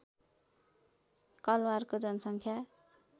कलवारको जनसङ्ख्या